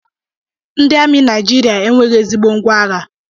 Ndị amị Naijiria enweghị ezigbo ngwá agha